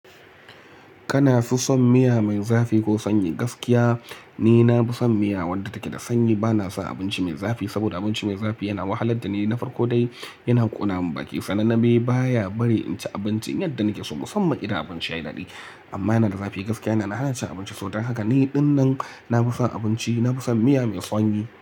Kana fi son miya mai zafi ko sanyi? Gaskiya ni na fi son miya wadda take da sanyi. Bana son abinci mai zafi saboda abinci mai zafi yana wahalar da ni, na farko dai yana ƙona mun baki sannan na bai baya bari in ci abinci in yadda nake so musamman idan abinci yayi daɗi. Amma yana da zafi gaskiya yana hana cin abinci. Don haka ni ɗinnan na fi son abinci, na fi son miya mai sanyi.